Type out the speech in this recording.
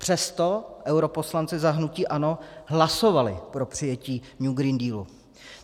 Přesto europoslanci za hnutí ANO hlasovali pro přijetí New Green Deal.